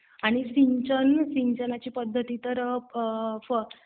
आणि सिंचन. सिंचनाची पद्धत तर